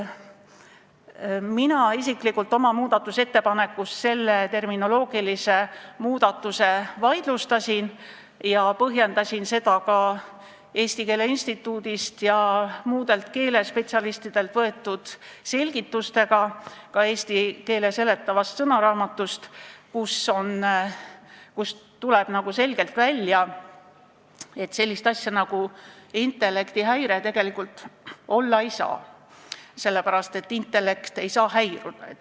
Mina isiklikult oma muudatusettepanekus selle terminoloogilise muudatuse vaidlustasin ja põhjendasin seda ka Eesti Keele Instituudist ja muudelt keelespetsialistidelt saadud selgitustega, ka eesti keele seletava sõnaraamatu kirjetega, kust tuleb selgelt välja, et sellist asja nagu intellektihäire tegelikult olla ei saa, sest intellekt ei saa häiruda.